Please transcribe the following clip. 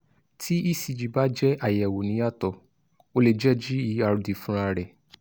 tí ecg bá jẹ́ àyẹ́wọ́ níyàtọ̀ o lè jẹ́ gerd fúnra rẹ̀